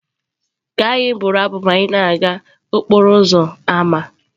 Ka anyị bụrụ abụ ka anyị na-aga n'okporo ámá.